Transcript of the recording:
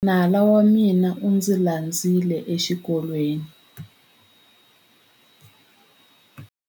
Nala wa mina u ndzi landzile exikolweni.